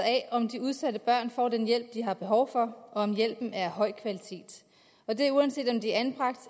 af om de udsatte børn får den hjælp de har behov for og om hjælpen er af høj kvalitet og det er uanset om de er anbragt